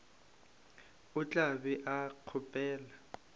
o tla be o kgopela